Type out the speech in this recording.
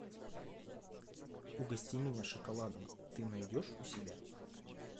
угости меня шоколадом ты найдешь у себя